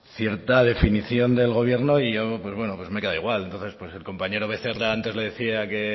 cierta definición del gobierno y yo pues bueno me he quedado igual entonces pues el compañero becerra antes le decía que